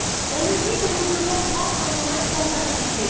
On nous dit que nous devons prendre nos responsabilités.